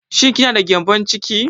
Shin ki na da gƴambon ciki?